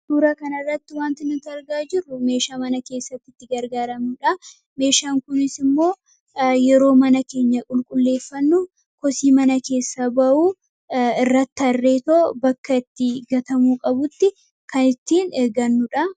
Suuraa kan irratti wanti nutti argaa jirru, meeshaa mana keessatti itti gargaaramnudha. Meeshaan kunis immoo yeroo mana keenya qulqulleeffannu, kosii mana keessa ba'u irratti harreetoo bakka itti gatamuu qabutti kan ittiin eeggannuudha.